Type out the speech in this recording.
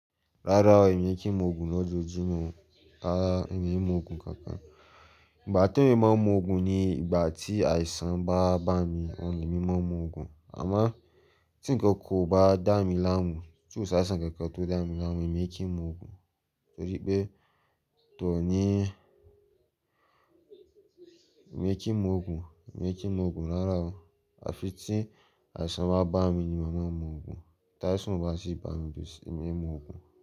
Rárá o, èmi kí n mu òògùn lọ́jọ́jumọ̀, ràrà, èmi i mu òògùn kankan. Ìgbà te eeyan máa n mu òògùn ni ìgbà tí àìsàn bá bá mi oun le èmi máa n mu òògùn. Àmo tí nnkan kan ò bá dá mi láàmú, tí ò ṣa si nnkan kan tó dá mi láàmú èmi kí n mu òògùn. Torí pé tò ní èmi kí n mu òògùn, èmi kí n mu òògùn rárá o. Àfi tí àìsàn bá bá mi ni màá n mu òògùn. Tàìsàn o bá ti bá mi èmi i mu òògùn.